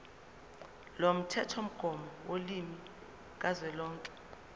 lomthethomgomo wolimi kazwelonke